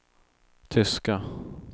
tyska